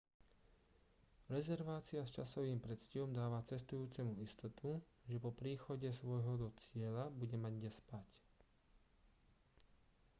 rezervácia s časovým predstihom dáva cestujúcemu istotu že po príchode svojho do cieľa bude mať kde spať